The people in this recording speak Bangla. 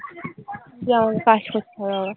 গিয়ে আমাকে কাজ করতে হবে আবার।